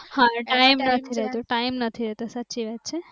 હા ટાઈમ નથી રહેતો ટાઈમ નથી રહેતો સાચી વાત છે.